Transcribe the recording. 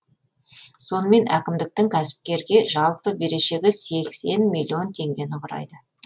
сонымен әкімдіктің кәсіпкерге жалпы берешегі сексен миллион теңгені құрайды